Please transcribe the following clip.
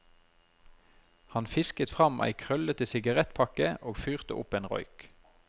Han fisket fram ei krøllete sigarettpakke og fyrte opp en røyk.